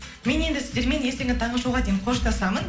мен енді сіздермен ертеңгі таңғы шоуға дейін қоштасамын